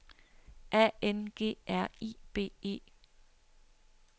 A N G R I B E